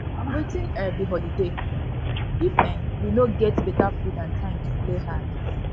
wetin um be holiday if um we no get we no get beta food and time to play hard